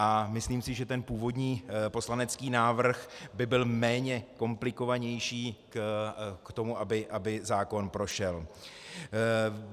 A myslím si, že ten původní poslanecký návrh by byl méně komplikovanější k tomu, aby zákon prošel.